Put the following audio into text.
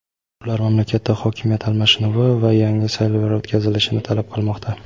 ular mamlakatda hokimiyat almashinuvi va yangi saylovlar o‘tkazilishini talab qilmoqda.